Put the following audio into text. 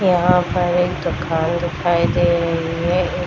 यहाँ पर एक दोकान दिखाई दे रही है।